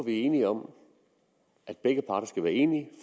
vi er enige om at begge parter skal være enige